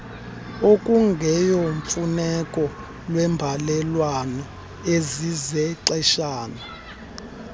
okungeyomfuneko lweembalelwano ezizexeshana